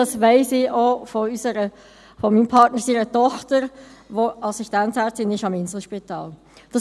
Das weiss ich auch von der Tochter meines Partners, die Assistenzärztin am Inselspital ist.